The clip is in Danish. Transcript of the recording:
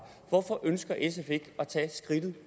hvorfor ønsker sf ikke at tage skridtet